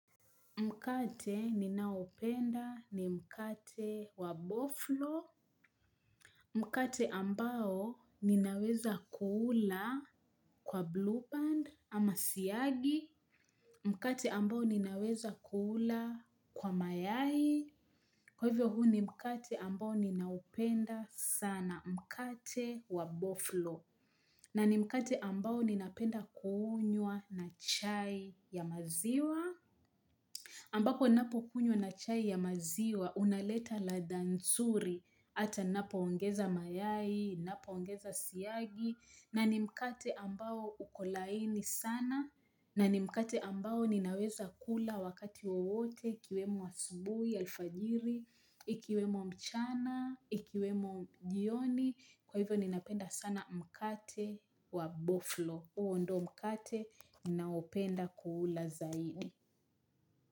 Mkate ninaupenda ni mkate wa boflo. Mkate ambao ninaweza kuula kwa blue band ama siyagi. Mkate ambao ninaweza kuula kwa mayai. Kwa hivyo huu ni mkate ambao ninaupenda sana mkate wa boflo. Na ni mkate ambao ninaupenda kuunyua na chai ya maziwa. Ambako napo kunywa na chai ya maziwa, unaleta ladha nzuri, ata napo ongeza mayai, napo ongeza siyagi, na ni mkate ambao ukolaini sana, na ni mkate ambao ninaweza kula wakati wote, kiwemo asubui, alfajiri, ikiwemo mchana, ikiwemo jioni, kwa hivyo ninapenda sana mkate wa boflo, uondomkate nao penda kuula zaidi.